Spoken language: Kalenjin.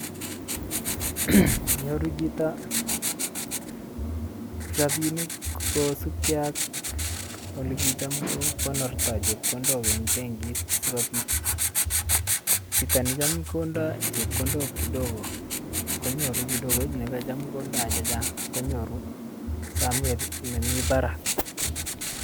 nyoru chito rabinik kosip gee ak ole kicham kokonorto chepkondok en bankit sikobit, chito necham kondo chekondok kidogo konyoru kidogo]cs] nekocham kondo chechang konyoru somet nemii barak.